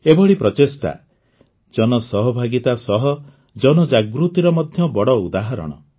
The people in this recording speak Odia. ଏଭଳି ପ୍ରଚେଷ୍ଟା ଜନସହଭାଗିତା ସହ ଜନଜାଗୃତିର ମଧ୍ୟ ବଡ଼ ଉଦାହରଣ